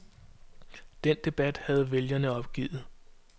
Den debat havde vælgerne opgivet.